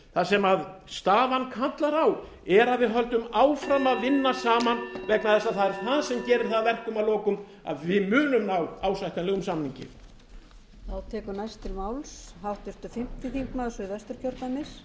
það sem staðan kallar á er að við höldum áfram að vinna saman vegna þess að það er það sem gerir það að verkum að lokum að við munum ná ásættanlegum samningi